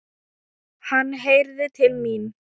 Hann heyrði til mín.